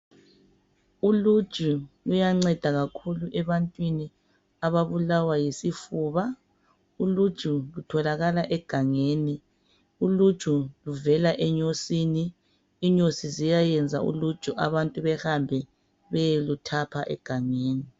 Uluju luyanceda kakhulu ebantwini ababulawa yisifuba. Uluju lutholakala egangeni. Uluju luvela enyosini. Inyosi ziyayenza uluju abantu behambe beyeluthapha egangeni.